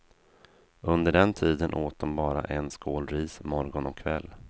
Under den tiden åt de bara en skål ris morgon och kväll.